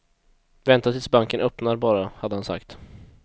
Vänta tills banken öppnar bara, hade han sagt.